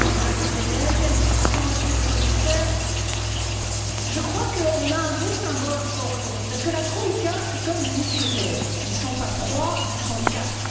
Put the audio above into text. Madame la Présidente, Monsieur le Commissaire, je crois qu'on a un beau symbole encore aujourd'hui, parce que la troïka, c'est comme les mousquetaires ils ne sont pas trois, ils sont quatre.